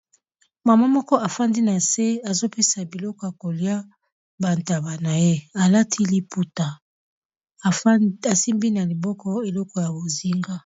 Mama moko afandi na se azo pesa biloko ya kolia ba ntaba na ye, alati liputa asimbi na liboko eloko ya bozinga.